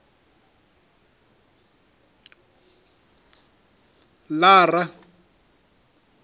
lara